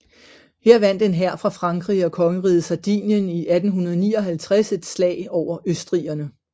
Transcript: Her vandt en hær fra Frankrig og kongeriget Sardinien i 1859 et slag over østrigerne